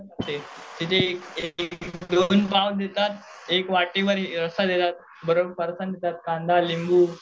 एक वाटीमध्ये रस्सा देतात फारसाण देतात कांदा लिंबू